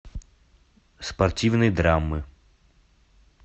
спортивные драмы